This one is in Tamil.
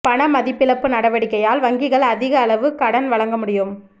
பண மதிப்பிழப்பு நடவடிக்கையால் வங்கிகள் அதிக அளவு கடன் வழங்க முடியும்